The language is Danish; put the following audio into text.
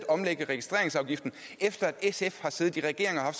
omlægge registreringsafgiften efter at sf har siddet i regering og har